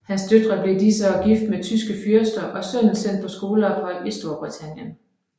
Hans døtre blev i disse år gift med tyske fyrster og sønnen sendt på skoleophold i Storbritannien